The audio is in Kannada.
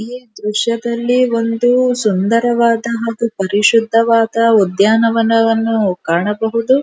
ಈ ದ್ರಶ್ಯದಲ್ಲಿ ಒಂದು ಸುಂದರವಾದ ಹಾಗು ಪರಿಶುದ್ಧವಾದ ಉದ್ಯಾನವನವನ್ನು ಕಾಣಬಹುದು.